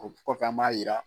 O kɔFɛ, an b'a jira.